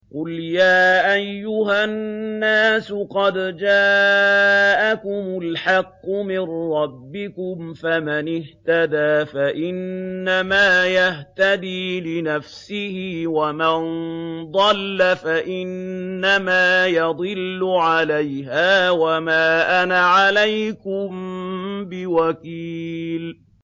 قُلْ يَا أَيُّهَا النَّاسُ قَدْ جَاءَكُمُ الْحَقُّ مِن رَّبِّكُمْ ۖ فَمَنِ اهْتَدَىٰ فَإِنَّمَا يَهْتَدِي لِنَفْسِهِ ۖ وَمَن ضَلَّ فَإِنَّمَا يَضِلُّ عَلَيْهَا ۖ وَمَا أَنَا عَلَيْكُم بِوَكِيلٍ